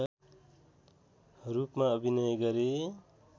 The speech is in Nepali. रूपमा अभिनय गरे